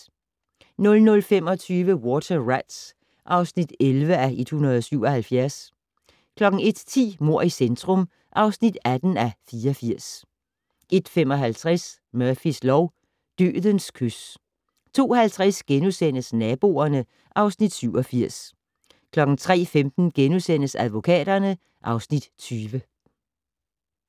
00:25: Water Rats (11:177) 01:10: Mord i centrum (18:84) 01:55: Murphys lov: Dødens kys 02:50: Naboerne (Afs. 87)* 03:15: Advokaterne (Afs. 20)*